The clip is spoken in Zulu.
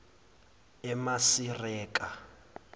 emasireka